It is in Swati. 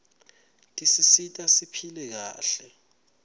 tisisita siphile kahle